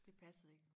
Det passede ik